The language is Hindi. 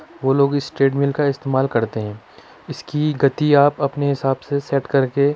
वो लोग इस ट्रैड मील का इस्तेमाल करते हैं इसकी गति आप अपने हिसाब से सेट करके --